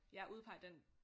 Ja udpege den